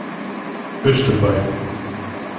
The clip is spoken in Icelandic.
Austurbæ